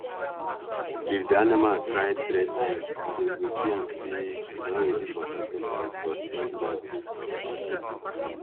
if the animal cry three times dem go see am say e don ready for sacrifice for spirit level.